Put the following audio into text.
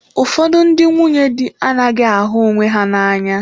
Ụfọdụ ndị nwunye di anaghị ahụ onwe ha n'anya.